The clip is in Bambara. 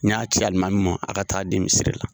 N y'a ci Almami ma aw ka taa a di misiri la.